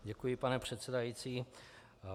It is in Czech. Děkuji, pane předsedající.